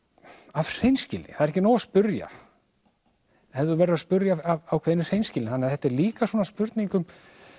af hreinskilni það er ekki nóg að spyrja þú verður að spyrja af ákveðinni hreinskilni þannig að þetta er líka svona spurning um